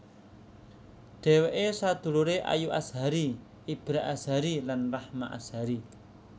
Dhèwèké saduluré Ayu Azhari Ibra Azhari lan Rahma Azhari